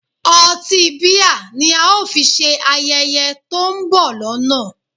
Ọtí bíà ni a ó fi ṣe ayẹyẹ to ń bọ̀ lọ́nà